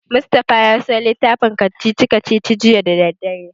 Mustapha ya siyo littafin kacici-kacicici juya da daddare.